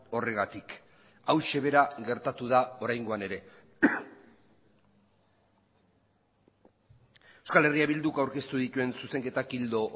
horregatik hauxe bera gertatu da oraingoan ere euskal herria bilduk aurkeztu dituen zuzenketak ildo